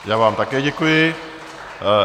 Já vám také děkuji.